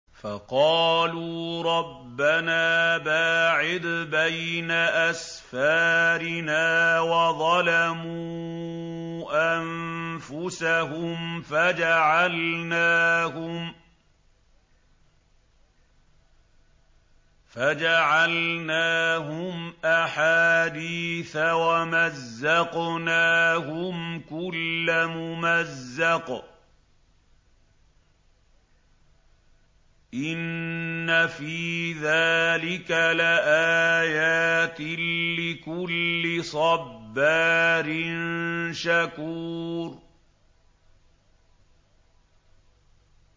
فَقَالُوا رَبَّنَا بَاعِدْ بَيْنَ أَسْفَارِنَا وَظَلَمُوا أَنفُسَهُمْ فَجَعَلْنَاهُمْ أَحَادِيثَ وَمَزَّقْنَاهُمْ كُلَّ مُمَزَّقٍ ۚ إِنَّ فِي ذَٰلِكَ لَآيَاتٍ لِّكُلِّ صَبَّارٍ شَكُورٍ